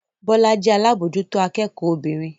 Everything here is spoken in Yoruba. Bọ́lá jẹ́ alábòójútó akẹ́kọ̀ọ́ obìnrin